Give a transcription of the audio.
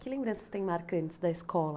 Que lembranças tem marcantes da escola?